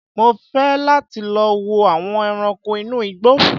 Mò fẹ́ láti lọ wo àwọn ẹranko inú igbó